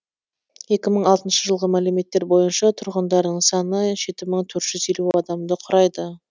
екі мың алтыншы жылғы мәліметтер бойынша тұрғындарының саны жеті мың төрт жүз елу адамды құрайды